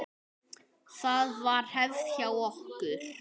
Það var hefð hjá okkur.